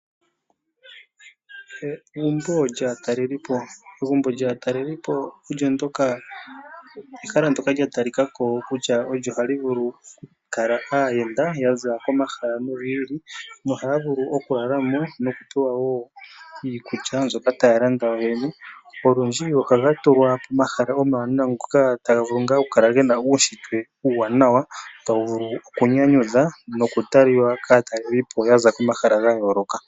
Egumbo lyaatalelipo Egumbo lyaatalelipo ehala ndyoka lya talika ko kutya olyo ha li vulu okukala aayenda ya za komahala gi ili nogi ili nohaya vulu okulala mo nokupewa wo iikulya mbyoka taya landa yoyene. Olundji ohaga tulwa pomahala omawanawa taga vulu ngaa okukala ge na uunshitwe uuwanawa tawu vulu okunyanyudha nokutalwa kaatalelipo ya za komahala ga yooloka.